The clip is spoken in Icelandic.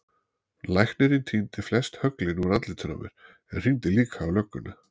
Læknirinn tíndi flest höglin úr andlitinu á mér en hringdi líka á lögguna.